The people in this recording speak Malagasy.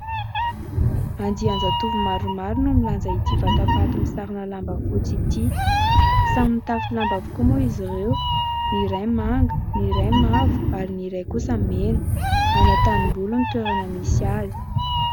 Andian-jatovo maromaro no milanja ity vatapaty misarona lamba fotsy ity. Samy mitafy lamba avokoa moa izy ireo ny iray manga, ny iray mavo ary ny iray kosa mena. Any an-tanimboly no toerana misy azy.